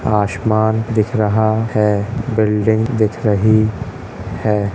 आसमान दिख रहा है बिल्डिंग दिख रही है।